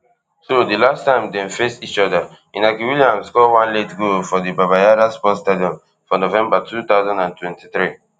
so di last time dem face each oda inaki williams score one late goal for di baba yara sports stadium for november two thousand and twenty-three